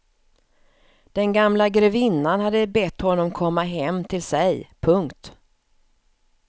Den gamla grevinnan hade bett honom komma hem till sig. punkt